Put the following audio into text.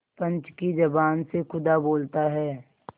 पंच की जबान से खुदा बोलता है